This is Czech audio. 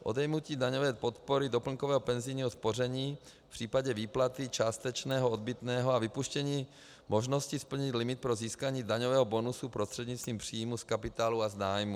Odejmutí daňové podpory doplňkového penzijního spoření v případě výplaty částečného odbytného a vypuštění možnosti splnit limit pro získání daňového bonusu prostřednictvím příjmů z kapitálu a z nájmu.